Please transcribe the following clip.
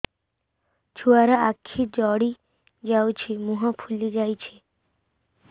ଛୁଆର ଆଖି ଜଡ଼ି ଯାଉଛି ମୁହଁ ଫୁଲି ଯାଇଛି